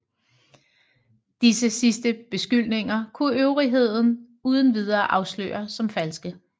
Disse sidste beskyldninger kunne øvrigheden uden videre afsløre som falske